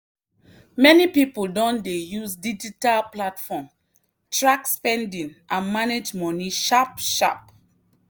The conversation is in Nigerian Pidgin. many people don dey use digital platform track spending and manage money sharp sharp.